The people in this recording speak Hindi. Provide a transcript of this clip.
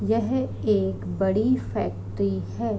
यह एक बड़ी फ़ैक्ट्री है।